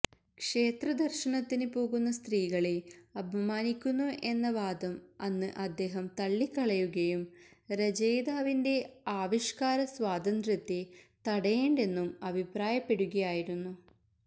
ക്ഷേത്രദര്ശനത്തിന് പോകുന്ന സ്ത്രീകളെ അപമാനിക്കുന്നു എന്ന വാദം അന്ന് അദ്ദേഹം തള്ളിക്കളയുകയും രചയിതാവിന്റെ ആവിഷ്കാരസ്വാതന്ത്ര്യത്തെ തടയേണ്ടെന്നും അഭിപ്രായപ്പെടുകയായിരുന്നു